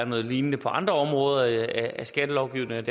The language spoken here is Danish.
noget lignende på andre områder af skattelovgivningen